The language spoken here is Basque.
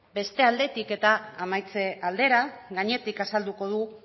beste aldetik eta amaitze aldera gainetik azalduko dut